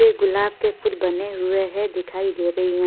वे गुलाब के फुल बने हुए है दिखाई दे रही हैं।